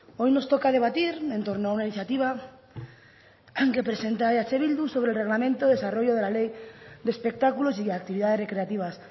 hoy nos toca debatir en torno a una iniciativa que presenta eh bildu sobre el reglamento y desarrollo de la ley de espectáculos y actividades recreativas